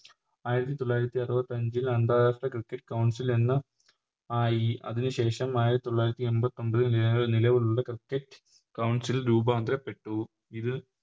ആയിരത്തി തൊള്ളായിരത്തി അറുപത്തഞ്ചിൽ അന്താരാഷ്ട്ര Cricket ൽ എന്ന ആയി അതിനു ശേഷം ആയിരത്തി തൊള്ളായിരത്തി എൺപത്തൊമ്പതിൽ വേറെ നിലവിലുള്ള Cricket council ൽ രൂപാന്തരപ്പെട്ടു ഇതിൽ